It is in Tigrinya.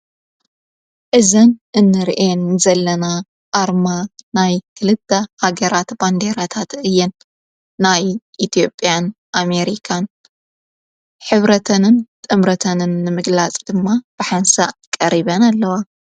እዘን እንርኤን ዘለና ኣርማ ናይ ክልታ ሃገራተ ባንዴረታት እየን ናይ ኢትኦጵያን ኣሜሪካን ኅብረተንን ጥምረተንን ምግላጽ ድማ ብሓንሳእ ቀሪበን ኣለዋ።